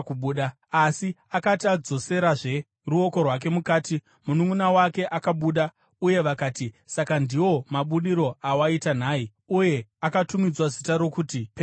Asi akati adzosera ruoko rwake mukati, mununʼuna wake akabuda, uye vakati, “Saka ndiwo mabudiro awaita nhai!” Uye akatumidzwa zita rokuti Perezi.